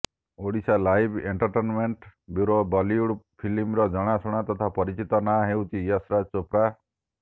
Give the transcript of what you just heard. Odisha live entertainment bureau Bollywood ଫିଲ୍ମର ଜଣାଶୁଣା ତଥା ପରିଚିତ ନାଁ ହେଉଛି ୟଶରାଜ୍ ଚୋପ୍ରା